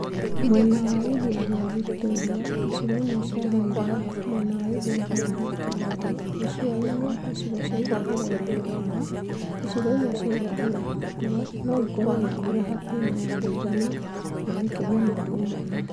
Mwena wa iria rĩa Victoria, icigo imwe cia Highlands mwena wa ithũĩro wa Rift Valley, gĩcũa-inĩ, icigo cia irathĩro ya rũgongo, icigo imwe cia irathĩro ya mũhuro no ikorũo na mbura hakuhĩ na ya mũigana na makĩria ma mũigana